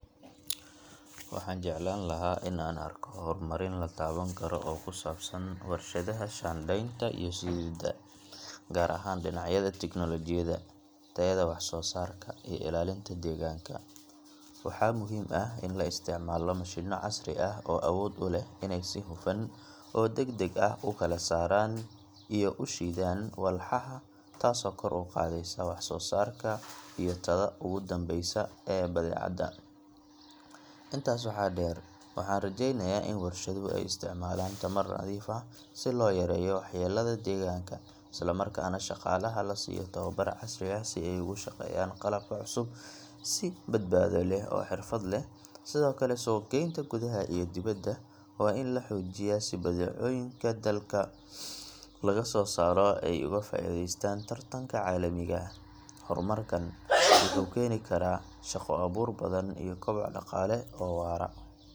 Waxaan jeclaan lahaa in aan arko horumarin la taaban karo oo ku saabsan warshadaha shaandhaynta iyo shiididda, gaar ahaan dhinacyada tignoolajiyadda, tayada wax-soo-saarka, iyo ilaalinta deegaanka. Waxaa muhiim ah in la isticmaalo mashiinno casri ah oo awood u leh inay si hufan oo degdeg ah u kala saaraan iyo u shiidaan walxaha, taasoo kor u qaadaysa wax-soo-saarka iyo tayada ugu dambeysa ee badeecada. Intaas waxaa dheer, waxaan rajaynayaa in warshaduhu ay isticmaalaan tamar nadiif ah si loo yareeyo waxyeellada deegaanka, isla markaana shaqaalaha la siiyo tababar casri ah si ay ugu shaqeeyaan qalabka cusub si badbaado leh oo xirfad leh. Sidoo kale, suuq-geynta gudaha iyo dibadda waa in la xoojiyaa si badeecooyinka dalka laga soo saaro ay uga faa’iidaystaan tartanka caalamiga ah. Horumarkan wuxuu keeni karaa shaqo-abuur badan iyo koboc dhaqaale oo waara.